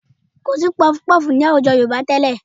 Kò sí puffpuff ní àwùjọ Yorùbá tẹ́lẹ̀